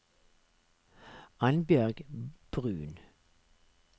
Annbjørg Bruun